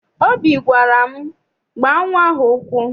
Obi gwara m, gbaa nnwa ahụ ụkwụ!